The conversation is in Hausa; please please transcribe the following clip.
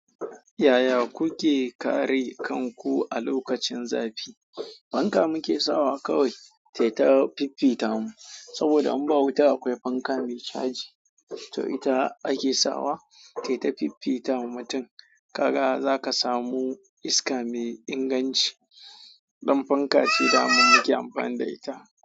Yaya kuke kare kanku a lokacin zafi? Fanka muke sawa kawai, tai ta fiffita mu. Saboda in ba mu wuta akwai fanka mai caji, to ita ake sawa tai ta fiffita mutum. Ka ga zaka samu iska mai inganci. Ɗan fanka ce daman muke amfani da ita.